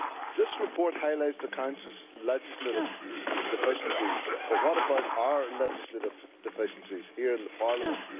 This report highlights the Council's legislative deficiencies, but what about our legislative deficiencies here in Parliament?